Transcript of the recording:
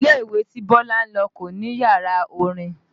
Ilé ìwé tí Bọ́lá ń lọ kò ní yàrá orin